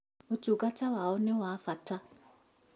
Ũtungata wao nĩ wa bata